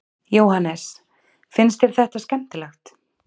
Jóhannes: Finnst þér þetta skemmtilegt?